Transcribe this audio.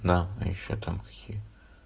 да и ещё там хи